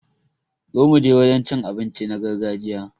Zo muje wajen cin abinci na gargajiya